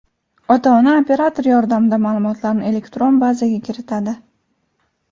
Ota-ona operator yordamida ma’lumotlarni elektron bazaga kiritadi.